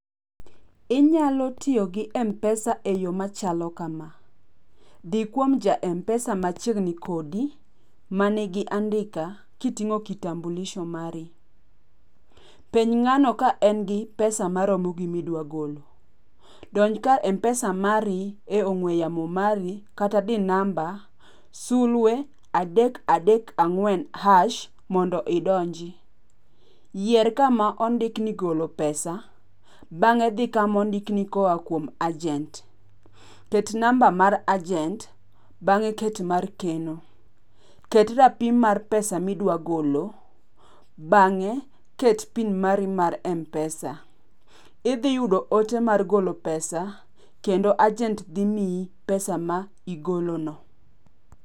Inyalo tiyo gi m-pesa eyo machalo kama. Dhi kuom ja m-pesa machiegni kodi, manigi andika kiting'o kitambulizo mari. Penj ng'ano ka en gi pesa maromo gi midwa golo. Donj kar m-pesa mari e ong'ue yamo mari kata di namba sulwe adek adek ang'wen hash mondo idonji. Yier kama ondiki ni golo pesa, bang'e dhi kama ondiki ni kowuok kuom ajent. Ket namba mar ajent, bang'e ket mar keno. Ket rapim mar pesa midwa golo. Bang'e ket pin mari mar m-pesa. Idhi yudo ote mar golo pesa kendo ajent dhi miyi pesa ma igolono.